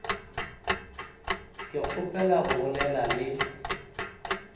ke kgopela go bolela le